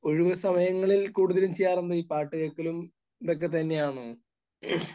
ഒഴിവ് സമയങ്ങളിൽ കൂടുതൽ ചെയ്യാറുള്ളത് പാട്ട് കേൾക്കലും ഇതൊക്കെ തന്നെയാണോ?